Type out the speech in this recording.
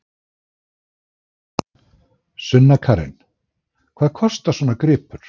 Sunna Karen: Hvað kostar svona gripur?